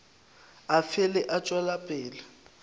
a fele a tšwela pele